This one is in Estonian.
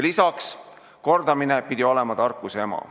Lisaks on kordamine tarkuse ema.